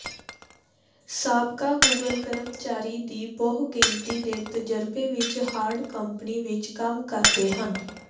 ਸਾਬਕਾ ਗੂਗਲ ਕਰਮਚਾਰੀ ਦੀ ਬਹੁਗਿਣਤੀ ਦੇ ਤਜਰਬੇ ਵਿੱਚ ਹਾਰਡ ਕੰਪਨੀ ਵਿਚ ਕੰਮ ਕਰਦੇ ਹਨ